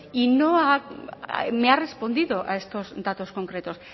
y no me ha respondido a estos datos concretos